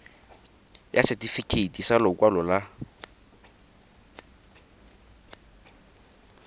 ya setefikeiti sa lokwalo la